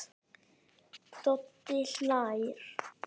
Doddi hlær.